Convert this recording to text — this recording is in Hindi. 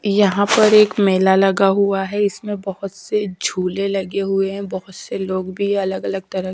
यहां पर एक मेला लगा हुआ है इसमें बहुत से झूले लगे हुए हैं बहुत से लोग भी अलग-अलग तरह--